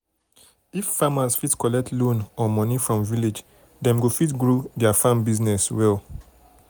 if farmers fit collect loan or money from village dem go fit grow their farm business well well.